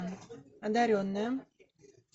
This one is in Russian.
одаренная